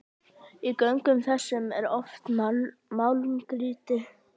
Í göngum þessum er oft málmgrýti.